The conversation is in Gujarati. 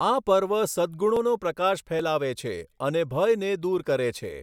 આ પર્વ સદ્ગુણોનો પ્રકાશ ફેલાવે છે અને ભયને દૂર કરે છે.